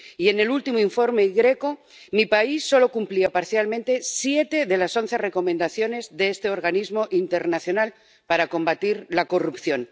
Y en el último informe GRECO mi país solo cumplía parcialmente siete de las once recomendaciones de este organismo internacional para combatir la corrupción.